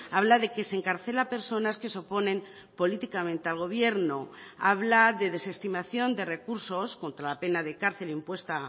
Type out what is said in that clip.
habla de que se encarcela a personas que se oponen políticamente al gobierno habla de desestimación de recursos contra la pena de cárcel impuesta